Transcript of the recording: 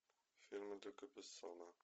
фильмы люка бессона